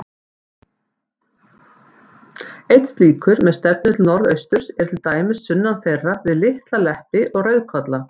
Einn slíkur, með stefnu til norðausturs, er til dæmis sunnan þeirra, við Litla-Leppi og Rauðkolla.